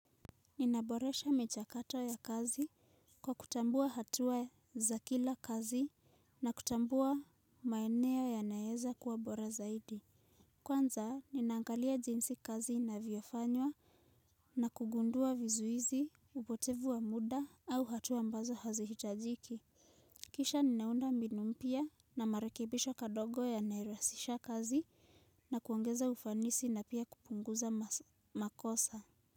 Ninaboresha michakato ya kazi kwa kutambua hatua za kila kazi na kutambua maeneo ya naeza kuwa bora zaidi. Kwanza, ninaangalia jinsi kazi inavyofanywa na kugundua vizuizi, upotevu wa muda au hatua ambazo hazihitajiki. Kisha, ninaunda mbinu mpya na marekebisho kadogo ya narahisisha kazi na kuongeza ufanisi na pia kupunguza makosa.